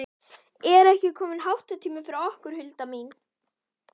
Er ekki kominn háttatími fyrir okkur, Hulda mín?